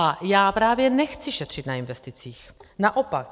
A já právě nechci šetřit na investicích, naopak.